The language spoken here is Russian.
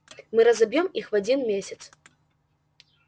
мы разобьём их в один месяц